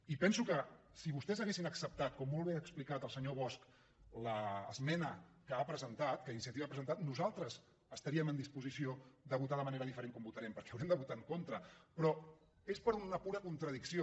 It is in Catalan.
i penso que si vostès haguessin acceptat com molt bé ha explicat el senyor bosch l’esmena que ha presentat que iniciativa ha presentat nosaltres estaríem en disposició de votar de manera diferent a com votarem perquè haurem de votar en contra però és per una pura contradicció